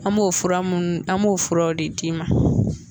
An m'o fura munnu an b'o furaw de d'i ma